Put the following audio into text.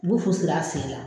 U bu fu siri a sen la.